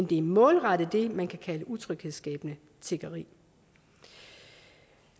det er målrettet det man kan kalde utryghedsskabende tiggeri